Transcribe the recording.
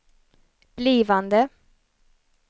blivande